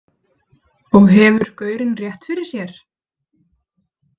Og hefur gaurinn rétt fyrir sér?